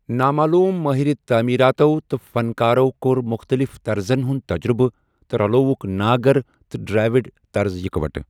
نامعلوٗم مٲہِرِ تعٲمیٖراتو تہٕ فنکارو کوٚر مُختٔلِف طرزن ہُند تجرُبہٕ تہٕ رَلووُکھ ناگٕر تہٕ ڈرٛاوِڈ طرز اِكوٹہٕ ۔